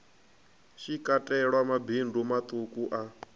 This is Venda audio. shi katelwa mabindu maṱuku a